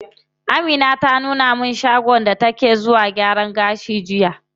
Amina ta nuna mana shagon da take zuwa gyaran gashi jiya.